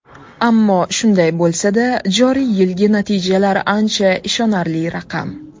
Ammo shunday bo‘lsada, joriy yilgi natijalar ancha ishonarli raqam.